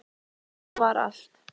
Svona var allt.